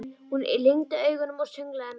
Hún lygndi augunum og sönglaði með.